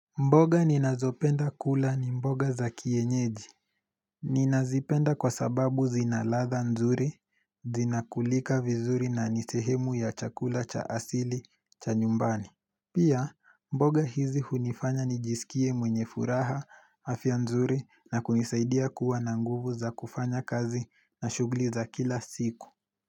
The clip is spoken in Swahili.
Mboga ninazopenda kula ni mboga za kienyeji Ninazipenda kwa sababu zinaladha nzuri, zinakulika vizuri na nisehemu ya chakula cha asili cha nyumbani Pia mboga hizi hunifanya nijisikie mwenye furaha hafya nzuri na kunisaidia kuwa na nguvu za kufanya kazi na shugli za kila siku.